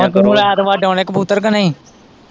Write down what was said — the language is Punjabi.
ਤੇ ਤੂੰ ਹੁਣ ਐਤਵਾਰ ਡਾਉਣੇ ਕਬੂਤਰ ਕੀ ਨਹੀਂ।